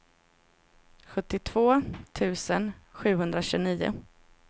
sjuttiotvå tusen sjuhundratjugonio